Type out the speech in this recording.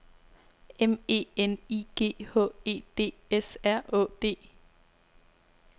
M E N I G H E D S R Å D